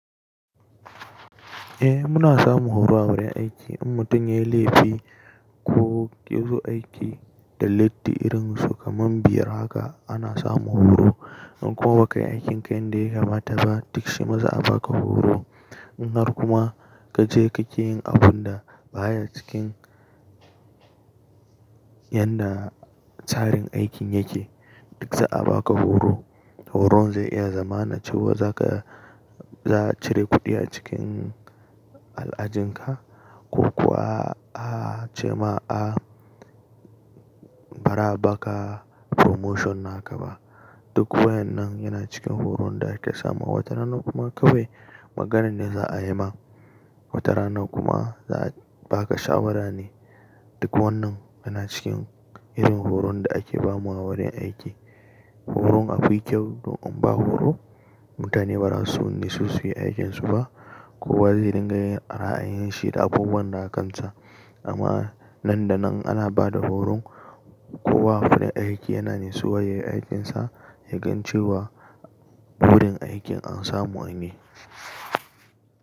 Eh muna samun horo a wurin aiki in mutum ya yi laifi ko ya zo aiki da latti irin su kaman biyar haka ana samun horo. In kuwa ba kai aikin kayan da ya kamata ba duk shi ma za a baka horo. In har kuma ka je kake yin abun da baya cikin yan da tsarin aikin yake duk za a baka horo. Horon zai iya zama na cewa za ka, za a cire kuɗi a cikin al'ajinka ko kuwa a, a ce ma a ba ra baka promotion na ka ba. Duk wayan nan yana cikin horon da ake samu. Wata rana kuma kawai magana ne za a yi ma. Wata rana kuma za a baka shawara ne. Duk wannan yana cikin irin horon da ake ba mawa wurin aiki. Horon a fi kyau don in ba horo mutane ba za su wani su su yi aikinsu ba. Kowa zai dinga yin ra'ayin shi da abubuwan da aka kansa amma nan da nan ana ba da horon. Kowa wurin aiki yana natsuwa ya yi aikinsa ya gan cewa wurin aikin an samu wani.